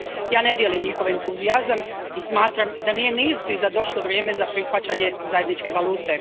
Ja ne dijelim njihov entuzijazam i smatram da nije ni izbliza došlo vrijeme za prihvaćanje zajedničke valute.